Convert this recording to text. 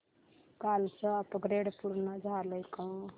कालचं अपग्रेड पूर्ण झालंय का